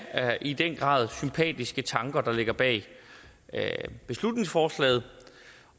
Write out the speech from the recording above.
i den grad sympatiske tanker der ligger bag beslutningsforslaget